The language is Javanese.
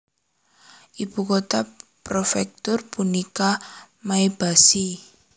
Ibu kota prefektur punika Maebashi